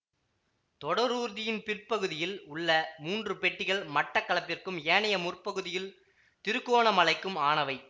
தொடரூர்தியின் பிற்பகுதியில் உள்ள மூன்று பெட்டிகள் மட்டக்களப்பிற்கும் ஏனைய முற்பகுதியில் திருக்கோணமலைக்கும் ஆனவை